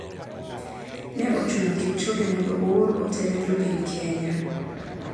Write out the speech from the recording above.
Ne ochuno kipchoge mondo oor ote ne jopiny kenya.